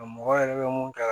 Nka mɔgɔ yɛrɛ bɛ mun kɛ